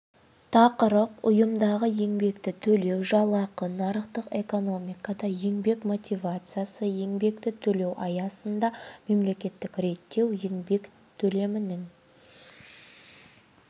тақырып ұйымдағы еңбекті төлеу жалақы нарықтық экономикада еңбек мотивациясы еңбекті төлеу аясында мемлекеттік реттеу еңбек төлімінің